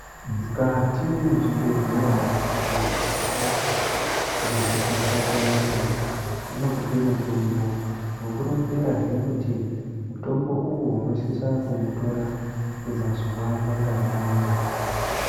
Mukati mezvibhehlera muntu ukarwara ngehosha yakasiyana siyana nopihwa mutombo vokuronzerazve kuti mutombo uwowo unosise kuutora kwemazuva manganai